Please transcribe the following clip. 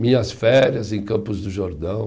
Minhas férias em Campos do Jordão.